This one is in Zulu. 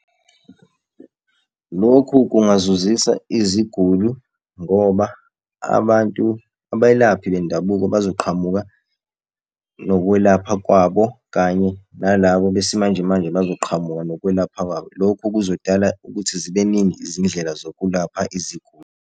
Lokhu kungazuzisa iziguli ngoba abantu abelaphi bendabuko bazoqhamuka nokwelapha kwabo, kanye nalabo besimanjemanje bazoqhamuka nokwelapha kwabo. Lokhu kuzodala ukuthi zibe ningi izindlela zokulapha iziguli.